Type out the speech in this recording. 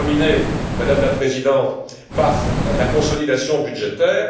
Je veux terminer, Madame la Présidente, par la consolidation budgétaire.